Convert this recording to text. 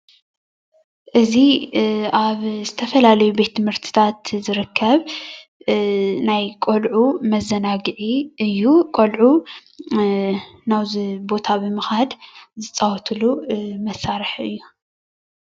እዚ ኣብ ዝተፈላለዩ ቤት ትምህርትታት ዝርከብ ናይ ቆሉዑ መዘናግዒ እዩ ቆሉዑ ናብዚ ቦታ ብምካድ ዝፃወቱሉ መሳሪሒ እዩ።